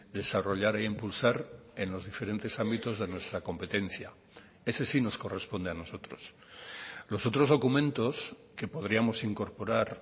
desarrollar e impulsar en los diferentes ámbitos de nuestra competencia ese sí nos corresponde a nosotros los otros documentos que podríamos incorporar